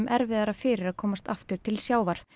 erfiðara fyrir að komast aftur til sjávar